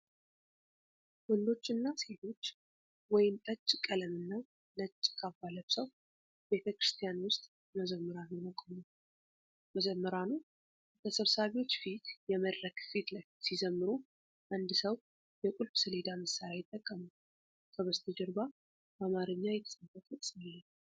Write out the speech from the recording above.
ወንዶችና ሴቶች ወይን ጠጅ ቀለምና ነጭ ካባ ለብሰው ቤተ ክርስቲያን ውስጥ መዘምራን ሆነው ቆመዋል። መዘምራኑ በተሰብሳቢዎች ፊት የመድረክ ፊት ለፊት ሲዘምሩ፣ አንድ ሰው የቁልፍ ሰሌዳ መሳሪያ ይጠቀማል። ከበስተጀርባ በአማርኛ የተጻፈ ጥቅስ አለ።